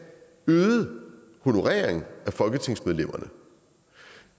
øget honorering af folketingsmedlemmerne